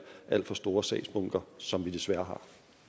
alt for store sagsbunker som vi desværre har